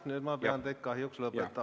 Nüüd ma pean kahjuks laskma teil lõpetada.